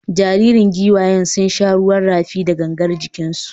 Jaririn giwayen sun sha ruwan rafi da gangar jikinsu.